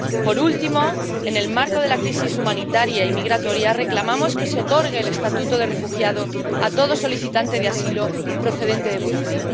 Por último, en el marco de la crisis humanitaria y migratoria, reclamamos que se otorgue el estatuto de refugiado a todo solicitante de asilo procedente de Burundi.